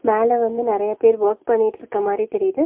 மேல வந்து நெறைய பேர் வொர்க் பண்ணிட்ருக்க மாரி தெரியிது.